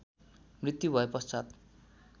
मृत्यु भए पश्चात